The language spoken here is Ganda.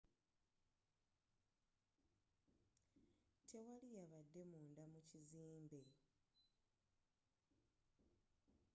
tewali yabadde munda mu kizimbe